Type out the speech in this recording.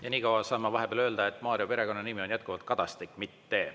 Ja niikaua saan ma vahepeal öelda, et Mario perekonnanimi on jätkuvalt Kadastik, mitte …